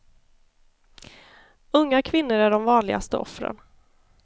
Unga kvinnor är de vanligaste offren.